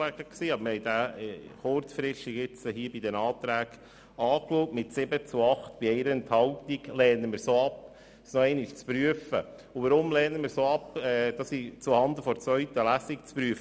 Aber wir haben ihn hier bei den Anträgen kurzfristig angeschaut und lehnen es mit 7 zu 8 Stimmen bei 1 Enthaltung ab, diesen noch einmal zuhanden der zweiten Lesung zu prüfen.